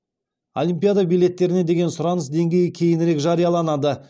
олимпиада билеттеріне деген сұраныс деңгейі кейінірек жарияланады